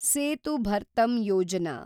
Setu Bharatam Yojana